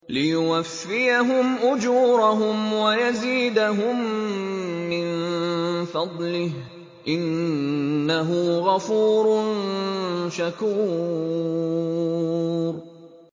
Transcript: لِيُوَفِّيَهُمْ أُجُورَهُمْ وَيَزِيدَهُم مِّن فَضْلِهِ ۚ إِنَّهُ غَفُورٌ شَكُورٌ